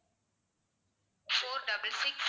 four double six